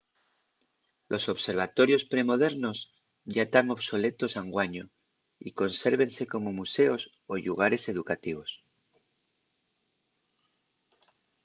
los observatorios pre-modernos yá tán obsoletos anguaño y consérvense como museos o llugares educativos